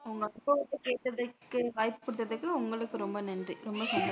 வாய்ப்பு கொடுத்ததற்கு உங்களுக்கு ரொம்ப நன்றி